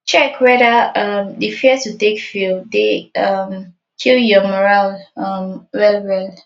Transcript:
check weda um di fear to take fail dey um kill yur moral um wellwell